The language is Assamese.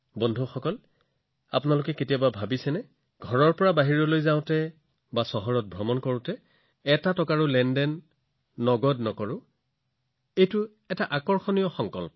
বন্ধুসকল আপোনাোকে কল্পনা কৰিব পাৰিবনে যে কোনোবাই তেওঁৰ ঘৰৰ পৰা এটা সংকল্প লৈ ওলাই যাব লাগে যে তেওঁ গোটেই দিনটো ভ্ৰমণ কৰিব গোটেই চহৰখনত যিকোনো লেনদেন নগদ ধনত এটা পইচাও লেনদেন নকৰিব এইটো এটা আকৰ্ষণীয় সংকল্প